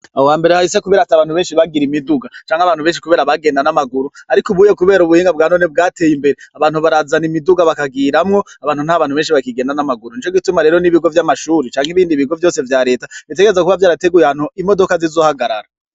Aho hambere hahise kubera ata bantu bagira imiduga canke abantu benshi kubera bagenda n'amaguru ariko ubuye kubera ubuhinga bwanone bwateye imbere abantu barazana imiduga bakagiramwo, abantu nta bantu benshi bakigenda n'amaguru nico gituma rero n'ibigo vy'amashure canke ibindi bigo vyose vya reta bitegerezwa kuba vyarateguye ahantu imodoka zizohagarara.